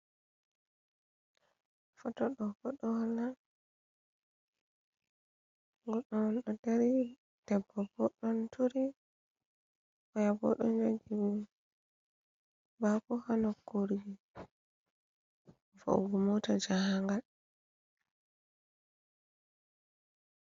Fotto ɗo bo ɗo hola goɗɗo on ɗo dari debbo bo ɗon turi oyabo ɗon jogi bako hanokurgi vaugu mota jahangal.